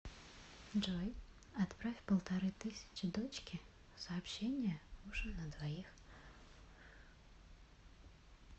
джой отправь полторы тысячи дочке сообщение ужин на двоих